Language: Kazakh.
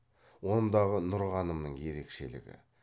ондағы нұрғанымның ерекшелігі